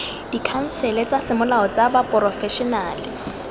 dikhansele tsa semolao tsa baporofešenale